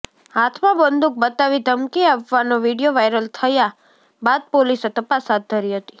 હાથમાં બંદુક બતાવી ધમકી આપવાનો વીડિયો વાયરલ થયા બાદ પોલીસે તપાસ હાથ ધરી હતી